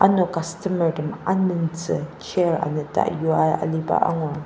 ano customer tem amentsü chair anata yua aliba angur.